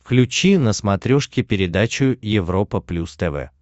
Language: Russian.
включи на смотрешке передачу европа плюс тв